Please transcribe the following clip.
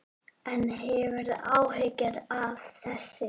En hefurðu áhyggjur af þessu?